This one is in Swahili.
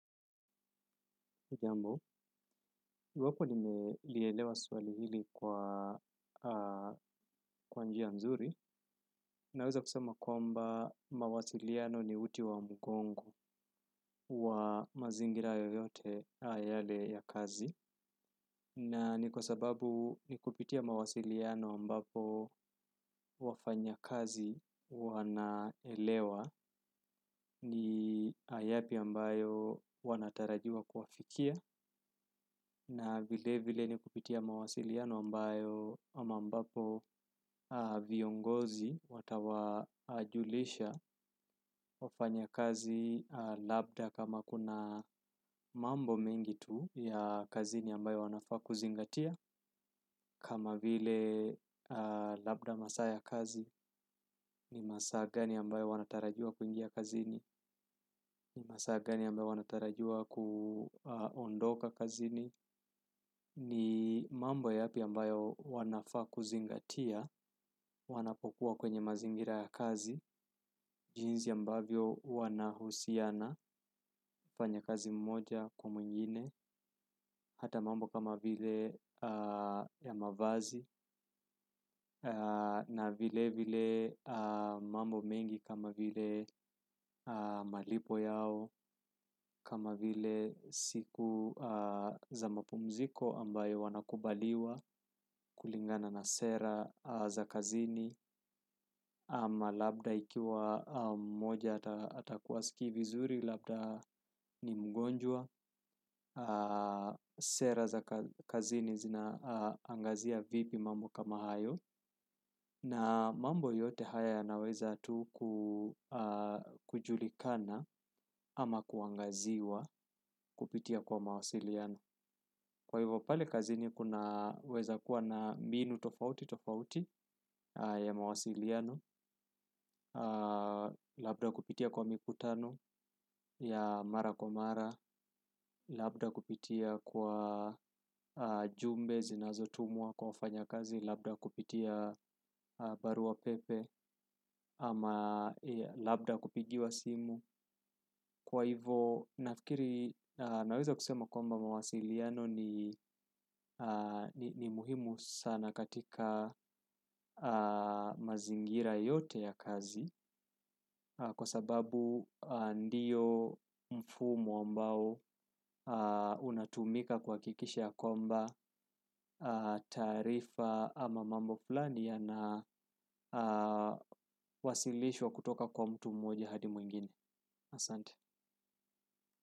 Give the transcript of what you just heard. Jambo, iwapo nimelielewa swali hili kwa kwa njia mzuri, naweza kusema kwamba mawasiliano ni uti wa mgongo wa mazingira yoyote yale ya kazi. Na ni kwa sababu ni kupitia mawasiliano ambapo wafanyakazi wanaelewa ni yapi ambayo wanatarajiwa kuafikia na vilevile ni kupitia mawasiliano ambayo ama ambapo viongozi watawajulisha wafanyakazi labda kama kuna mambo mengi tu ya kazini ambayo wanafaa kuzingatia kama vile labda masaa ya kazi ni masaa gani ambayo wanatarajiwa kuingia kazini ni masaa gani ambayo wanatarajiwa kuondoka kazini ni mambo yapi ambayo wanayofaa kuzingatia wanapokuwa kwenye mazingira ya kazi jinsi ambavyo wanahusiana mfanyakazi mmoja kwa mwingine hata mambo kama vile ya mavazi na vilevile mambo mengi kama vile malipo yao kama vile siku za mapumziko ambayo wanakubaliwa kulingana na sera za kazini ama labda ikiwa mmoja atakuwa hasikii vizuri labda ni mgonjwa Sera za kazini zinaangazia vipi mambo kama hayo na mambo yote haya yanaweza tu kujulikana ama kuangaziwa kupitia kwa mawasiliano kwa hivo pale kazini kunaweza kuwa na mbinu tofautitofauti ya mawasiliano. Labda kupitia kwa mikutano ya mara kwa mara. Labda kupitia kwa jumbe zinazotumwa kwa wafanyakazi. Labda kupitia barua pepe ama labda kupigiwa simu kwa hivyo nafikiri naweza kusema komba mawasiliano ni muhimu sana katika mazingira yote ya kazi kwa sababu ndiyo mfumo ambao unatumika kuhakikisha ya kwamba taarifa ama mambo fulani yana wasilishwa kutoka kwa mtu mmoja hadi mwengine Asante.